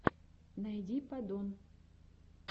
найди падон